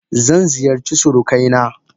Zan ziyarci surukaina.